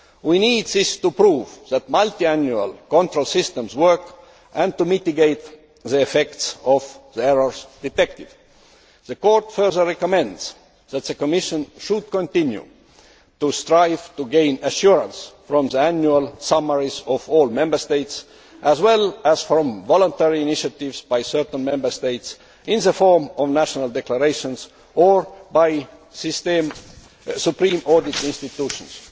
We need this to prove that multiannual control systems work and to mitigate the effects of the errors detected. The Court further recommends that the Commission should continue to strive to gain assurance from the annual summaries of all Member States, as well as from voluntary initiatives by certain Member States, in the form of national declarations, or by supreme audit institutions.